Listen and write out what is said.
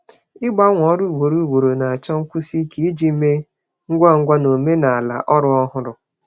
Ịgbanwe ọrụ ugboro ugboro chọrọ ike ịgbanwe ngwa ngwa na omenala ọrụ ọhụrụ.